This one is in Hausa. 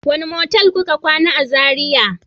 wane motel kuka kwana a zarai?